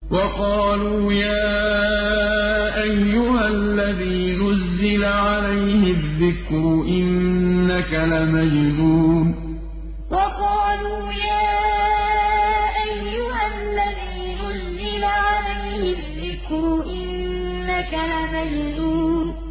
وَقَالُوا يَا أَيُّهَا الَّذِي نُزِّلَ عَلَيْهِ الذِّكْرُ إِنَّكَ لَمَجْنُونٌ وَقَالُوا يَا أَيُّهَا الَّذِي نُزِّلَ عَلَيْهِ الذِّكْرُ إِنَّكَ لَمَجْنُونٌ